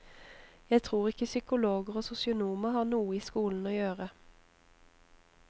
Jeg tror ikke psykologer og sosionomer har noe i skolen å gjøre.